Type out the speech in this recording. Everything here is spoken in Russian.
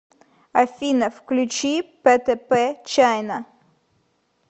афина включи пэтэпэ чайна